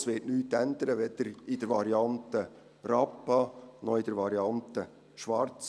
Es wird nichts ändern, weder in der Variante Rappa, noch in der Variante Schwarz.